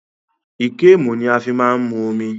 Íkémù ni a fí máa ń mu omi